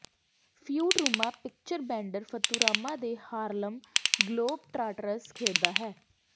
Futurama picture Bender Futurama ਤੇ Harlem Globetrotters ਖੇਡਦਾ ਹੈ